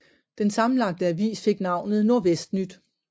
Den sammenlagte avis fik navnet Nordvestnyt